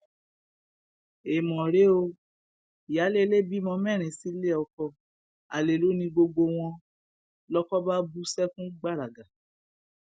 èèmọ rèé o ìyáálé ilé bímọ mẹrin sílé ọkọ alẹ lọ ni gbogbo wọn lọkọ bá bú sẹkún gbàràgà